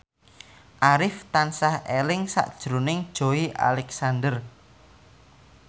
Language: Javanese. Arif tansah eling sakjroning Joey Alexander